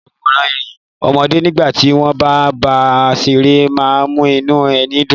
Ìsọwọ́rẹ́rìn ọmọdé nígbà tí wọ́n bá ń bá a ṣeré má ń mú inú ẹni dùn